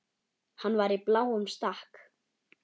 Hann var í bláum stakk.